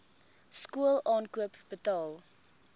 skool aankoop betaal